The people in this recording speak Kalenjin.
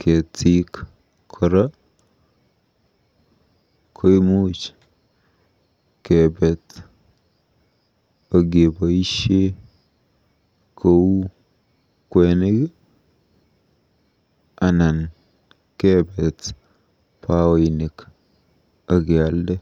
Ketik kora koimuch kepet akepoisie kou kwenik anan kepet paoinik akealde.